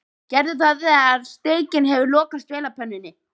Gerðu það þegar steikin hefur lokast vel á pönnunni.